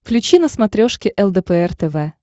включи на смотрешке лдпр тв